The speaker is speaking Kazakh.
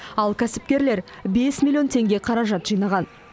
ал кәсіпкерлер бес миллион теңге қаражат жинаған